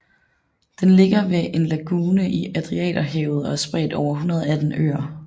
Den ligger ved en lagune i Adriaterhavet og er spredt over 118 øer